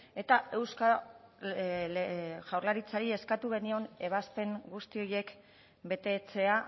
eta eusko jaurlaritzari eskatu genion ebazpen guzti horiek betetzea